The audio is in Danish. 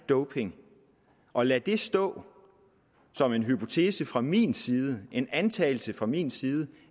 doping og lad det stå som en hypotese fra min side en antagelse fra min side